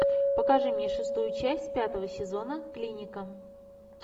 покажи мне шестую часть пятого сезона клиника